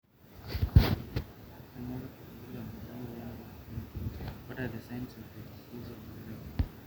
kanyio irbulabul le moyian oloipirnyiny